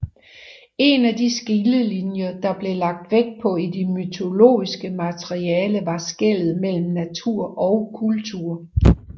En af de skillelinjer der blev lagt vægt på i det mytologiske materiale var skellet mellem natur og kultur